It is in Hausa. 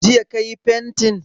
Jiya ka yi fantin?